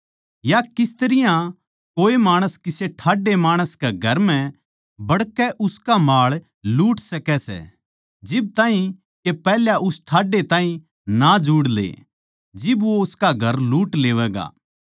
या किस तरियां कोए माणस किसे ठाड्डै माणस कै घर म्ह बड़कै उसका माळ लूट सकै सै जिब ताहीं के पैहल्या उस ठाड्डे ताहीं ना जुड़ ले जिब वो उसका घर लूट लेवैगा